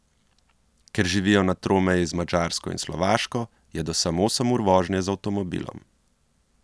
Ker živijo na tromeji z Madžarsko in Slovaško, je do sem osem ur vožnje z avtomobilom.